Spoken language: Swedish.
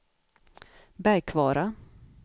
Bergkvara